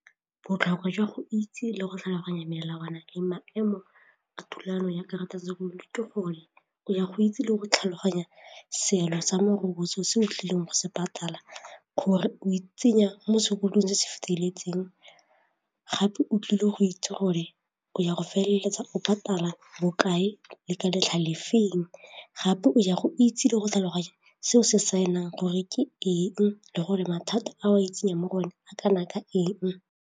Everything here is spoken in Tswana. Botlhokwa jwa go itse le go tlhaloganya melawana le maemo a tumelano ya karata ya sekoloto ke gore o ya go itse le go tlhaloganya seelo sa morokotso se o tlileng go se patala gore o itsenya mo sekolong se se feteletseng gape o tlile go itse gore o ya go feleletsa o patala bokae le ka letlha le feng gape o ya go itse le go tlhaloganya se o se saenang gore ke eng le gore mathata a o itsenyang mo go one a kana ka eng.